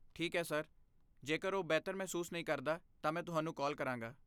ਠੀਕ ਹੈ ਸਰ, ਜੇਕਰ ਉਹ ਬਿਹਤਰ ਮਹਿਸੂਸ ਨਹੀਂ ਕਰਦਾ, ਤਾਂ ਮੈਂ ਤੁਹਾਨੂੰ ਕਾਲ ਕਰਾਂਗਾ।